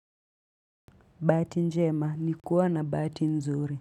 Bahati njema ni kuwa na bahati nzuri.